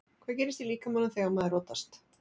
Hvað gerist í líkamanum þegar maður rotast?